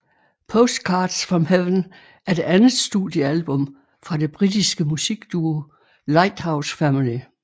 Postcards from Heaven er det andet studiealbum fra den britiske musikduo Lighthouse Family